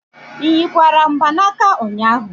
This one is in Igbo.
Ị nyikwara mgbanaka ụnyahụ?